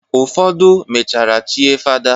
Ụfodụ mechara chie fada.